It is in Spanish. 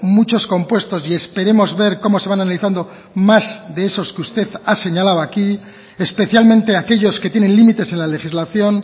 muchos compuestos y esperemos ver cómo se van analizando más de esos que usted ha señalado aquí especialmente aquellos que tienen límites en la legislación